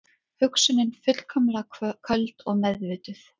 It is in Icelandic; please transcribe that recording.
Hugsunin fullkomlega köld og meðvituð.